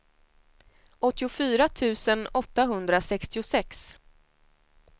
åttiofyra tusen åttahundrasextiosex